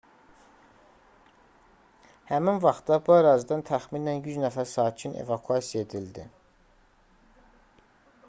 həmin vaxtda bu ərazidən təxminən 100 nəfər sakin evakuasiya edildi